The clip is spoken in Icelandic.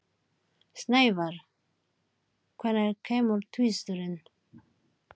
Snævar, hvenær kemur tvisturinn?